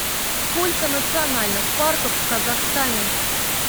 сколько национальных парков в казахстане